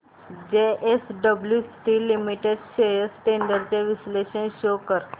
JSW steel limited shares trends चे विश्लेषण show कर